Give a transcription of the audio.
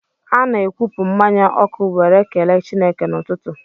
Ana-akwụpụ mmanya ọkụ were kelee Chineke n'ụtụtụ.